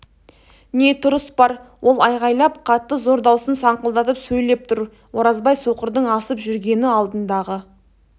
не тұрыс бар ол айғайлап қатты зор даусын саңқылдатып сөйлеп тұр оразбай соқырдың асып жүргені алдындағы